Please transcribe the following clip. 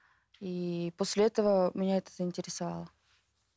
и после этого меня это заинтересовала